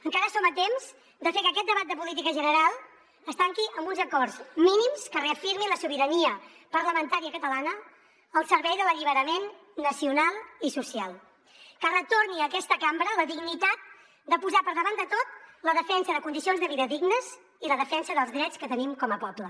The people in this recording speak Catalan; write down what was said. encara som a temps de fer que aquest debat de política general es tanqui amb uns acords mínims que reafirmin la sobirania parlamentària catalana al servei de l’alliberament nacional i social que retorni a aquesta cambra la dignitat de posar per davant de tot la defensa de condicions de vida dignes i la defensa dels drets que tenim com a poble